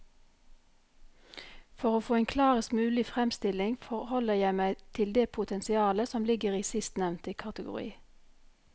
For å få en klarest mulig fremstilling forholder jeg meg til det potensialet som ligger i sistnevnte kategori.